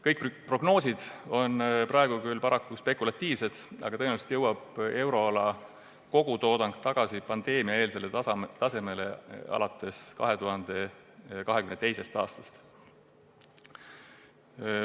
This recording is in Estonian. Kõik prognoosid on praegu paraku spekulatiivsed, aga tõenäoliselt jõuab euroala kogutoodang tagasi pandeemiaeelsele tasemele alates 2022. aastast.